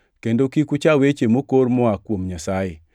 kendo kik ucha weche mokor moa kuom Nyasaye.